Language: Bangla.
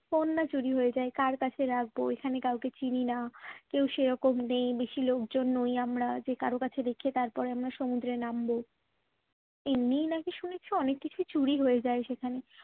ফোন না চুরি হয়ে যায় কার কাছে রাখবো এখানে কাউকে চিনি না কেউ সেই রকম নেই বেশি লোকজন নই আমরা যে কারোর কাছে রেখে তারপর আমরা সমুদ্রে নামবো এমনিই নাকি শুনেছি অনেক কিছু চুরি হয়ে যায় সেখানে